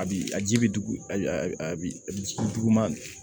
A bi a ji bi dugu a bi duguma